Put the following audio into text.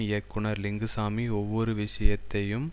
இயக்குனர் லிங்குசாமி ஒவ்வொரு விஷயத்தையும்